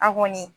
A kɔni